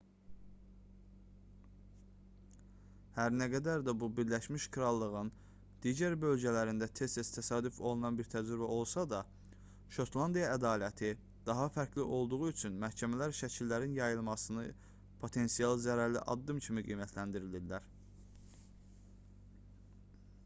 hər nə qədər bu birləşmiş krallığın digər bölgələrində tez-tez təsadüf olunan bir təcrübə olsa da şotlandiya ədaləti daha fərqli olduğu üçün məhkəmələr şəkillərin yayınlanmasını potensial zərərli addım kimi qiymətləndirirlər